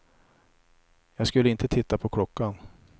Jag skulle inte titta på klockan.